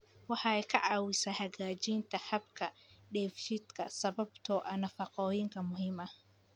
Waxay ka caawisaa hagaajinta habka dheefshiidka sababtoo ah nafaqooyinka muhiimka ah.